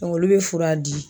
Dɔnku olu be fura di